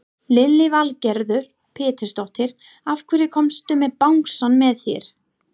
Lillý Valgerður Pétursdóttir: Af hverju komstu með bangsann með þér?